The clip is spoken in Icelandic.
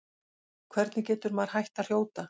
Hvernig getur maður hætt að hrjóta?